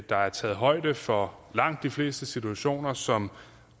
der er taget højde for langt de fleste situationer som